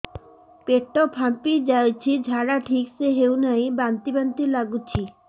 ପେଟ ଫାମ୍ପି ଯାଉଛି ଝାଡା ଠିକ ସେ ହଉନାହିଁ ବାନ୍ତି ବାନ୍ତି ଲଗୁଛି